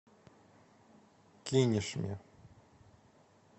кинешме